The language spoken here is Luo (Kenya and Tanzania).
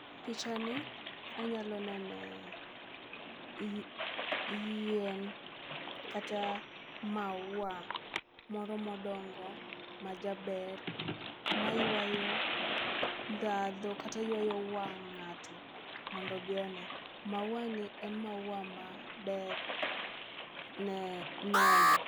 Picha ni anyalo nene i yien kata maua moro modongo ma jaber maywayo ndhadhu kata ywayo wang' ng'ato mondo obi one. maua ni en maua maber ne neno.